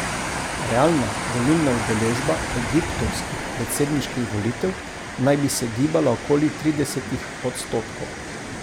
Realna volilna udeležba egiptovskih predsedniških volitev naj bi se gibala okoli tridesetih odstotkov.